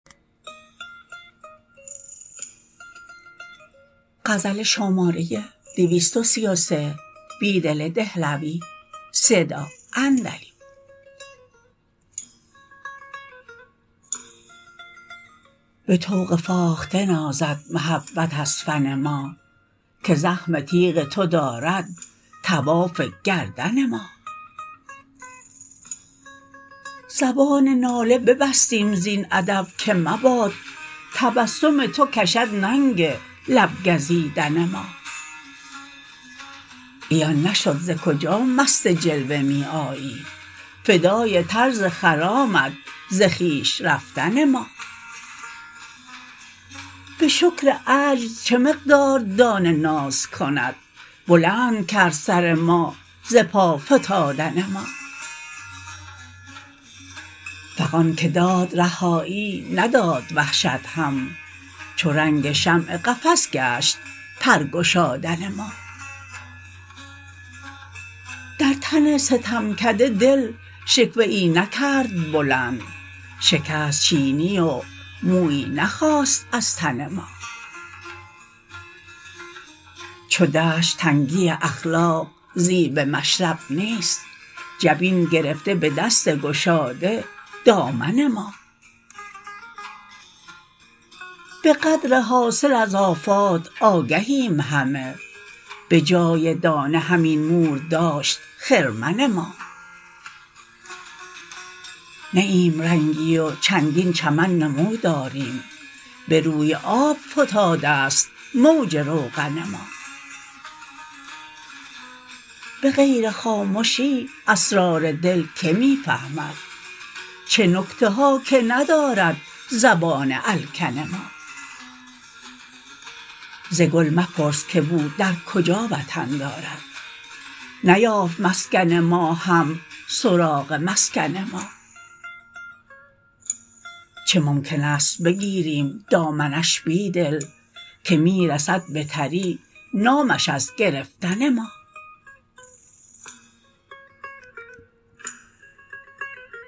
به طوق فاخته نازد محبت از فن ما که زخم تیغ تو دارد طواف گردن ما زبان ناله ببستیم زین ادب که مباد تبسم توکشد ننگ لب گزیدن ما عیان نشد زکجا مست جلوه می آیی فدای طرز خرامت ز خویش رفتن ما به شکر عجز چه مقدار دانه نازکند بلندکرد سر ما ز پا فتادن ما فغان که داد رهایی نداد وحشت هم چو رنگ شمع قفس گشت پرگشادن ما درتن ستمکده دل شکوه ای نکرد بلند شکست چینی ومویی نخاست ازتن ما چودشت تنگی اخلاق زیب مشرب نیست جبین گرفته به دست گشاده دامن ما به قدر حاصل از آفات آگهیم همه به جای دانه همین مور داشت خرمن ما نی ایم رنگی و چندین چمن نمو داریم به روی آب فتاده ست موج روغن ما به غیر خامشی اسرار دل که می فهمد چه نکته هاکه ندارد زبان الکن ما زگل مپرس که بو درکجا وطن دارد نیافت مسکن ما هم سراغ مسکن ما چه ممکن است بگیریم دامنش بیدل که می رسد به تری نامش ازگرفتن ما